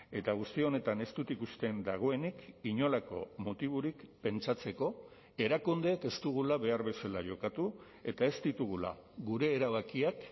eta guzti honetan ez dut ikusten dagoenik inolako motiborik pentsatzeko erakundeek ez dugula behar bezala jokatu eta ez ditugula gure erabakiak